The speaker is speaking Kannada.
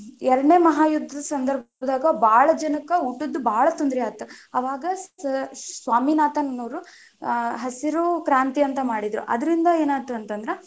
ಎರಡನೇ ಮಹಾ ಯುದ್ಧ ಸಂದರ್ಭದಾಗ ಬಾಳ ಜನಕ್ಕ ಊಟದ ಬಾಳ ತೊಂದರೆ ಆಯ್ತ್ ಅವಾಗ ಸ್ವಾಮಿನಾಥನ್ ಅವರು ಹಸಿರು ಕ್ರಾಂತಿ ಅಂತ ಮಾಡಿದ್ರ, ಅದರಿಂದ ಏನಾಯ್ತು ಅಂತ ಅಂದ್ರ,